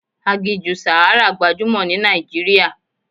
Aginjù Sahara gbajúmọ̀ ní Nàìjíríà.